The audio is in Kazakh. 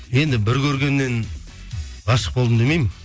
енді бір көргеннен ғашық болдым демеймін